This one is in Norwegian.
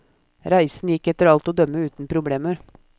Reisen gikk etter alt å dømme uten problemer.